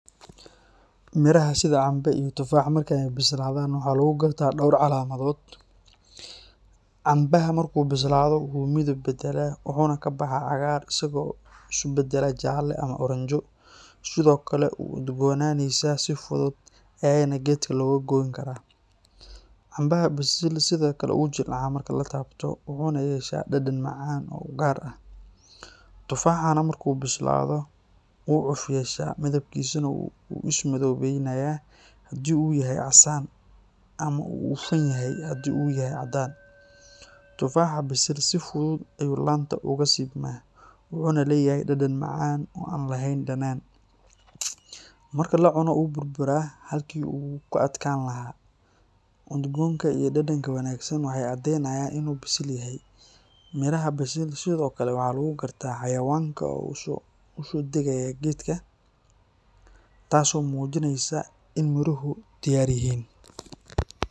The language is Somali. Miraha sida cambe iyo tufaaxa marka ay bislaadaan waxaa lagu gartaa dhowr calaamadood. Cambaha marka uu bislaado wuu midab beddelaa, wuxuuna ka baxaa cagaar isagoo isu beddelaya jaalle ama oranjo, sidoo kale wuu udgoonaysaa si fudud ayaana geedka looga goyn karaa. Cambaha bisil sidoo kale wuu jilcaa marka la taabto, wuxuuna yeeshaa dhadhan macaan oo u gaar ah. Tufaaxana marka uu bislaado wuu cuf yeeshaa, midabkiisana wuu sii madoobaanayaa haddii uu yahay casaan, ama wuu hufan yahay haddii uu yahay caddaan. Tufaaxa bisil si fudud ayuu laanta uga siibmaa, wuxuuna leeyahay dhadhan macaan oo aan lahayn dhanaan. Marka la cuno wuu burburaa halkii uu ka adkaan lahaa. Udgoonka iyo dhadhanka wanaagsan waxay caddeynayaan in uu bisil yahay. Miraha bisil sidoo kale waxaa lagu gartaa xayawaanka oo u soo degaya geedka, taas oo muujinaysa in miruhu diyaar yihiin.